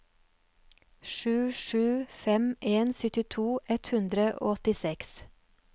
sju sju fem en syttito ett hundre og åttiseks